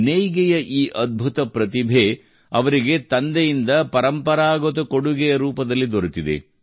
ನೇಯ್ಗೆಯ ಈ ಅದ್ಭುತ ಪ್ರತಿಭೆ ಅವರಿಗೆ ತಂದೆಯಿಂದ ಪರಂಪರಾಗತ ಕೊಡುಗೆಯ ರೂಪದಲ್ಲಿ ದೊರೆತಿದೆ